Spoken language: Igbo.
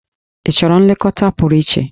Ị chọrọ nlekọta pụrụ iche?